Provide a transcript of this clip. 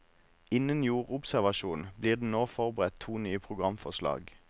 Innen jordobservasjon blir det nå forberedt to nye programforslag.